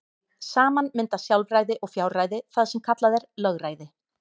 Saman mynda sjálfræði og fjárræði það sem kallað er lögræði.